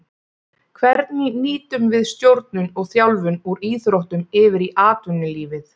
Hvernig nýtum við stjórnun og þjálfun úr íþróttum yfir í atvinnulífið.